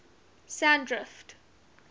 sandrift